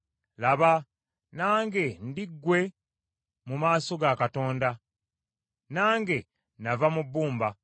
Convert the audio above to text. Laba, nange ndi ggwe mu maaso ga Katonda. Nange nava mu bbumba.